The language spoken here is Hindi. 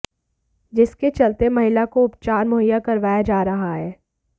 जिसके चलते महिला को उपचार मुहैया करवाया जा रहा है